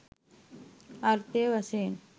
අර්ථ වශයෙන්